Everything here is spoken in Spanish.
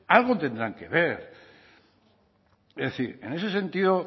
algo tendrá que ver es decir en ese sentido